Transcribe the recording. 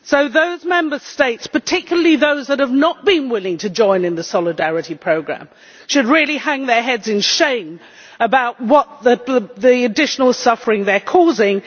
Those Member States particularly those that have not been willing to join in the solidarity programme should hang their heads in shame about the additional suffering they are causing.